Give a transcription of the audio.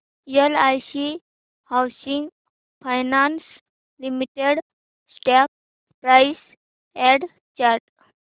LIC housing finance limited stock price and chart